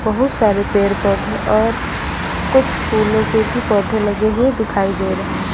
बहुत सारे पेड़ पौधे और कुछ फूलों के भी पौधे लगे हुए दिखाई दे रहे हैं।